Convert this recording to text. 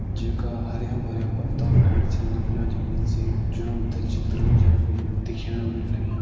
जेका हरयां-भरयां पत्ता भैर छिन निकलियाँ जमीन से जो हमते चित्र म जी अभी दिख्याणा लाग्यां।